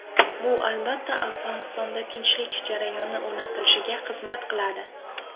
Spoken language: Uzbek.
Bu, albatta, Afg‘onistonda tinchlik jarayoni o‘rnatilishiga xizmat qiladi.